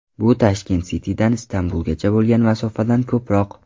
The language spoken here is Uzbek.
Bu Tashkent City’dan Istanbulgacha bo‘lgan masofadan ko‘proq.